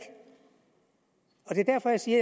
derfor siger